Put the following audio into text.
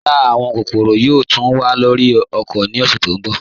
Rárá, àwọn kòkòró yòò túń wà lórí ọ̀kọ̀ ní ọ̀ṣẹ̀ tó nbọ̀